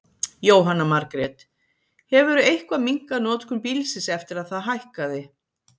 Jóhanna Margrét: Hefurðu eitthvað minnkað notkun bílsins eftir að það hækkaði?